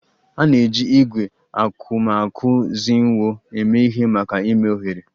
A na-eji ígwè akuakuzinwo eme ihe maka ime oghere